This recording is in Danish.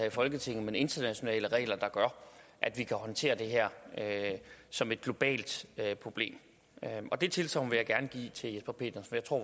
i folketinget men internationale regler der gør at vi kan håndtere det her som et globalt problem det tilsagn vil jeg gerne give til jesper petersen for